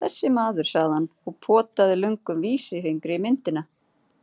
Þessi maður, sagði hann og potaði löngum vísifingri í myndina.